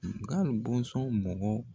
Nga bɔnsɔn mɔgɔ